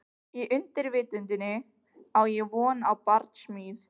Í undirvitundinni á ég von á barsmíð.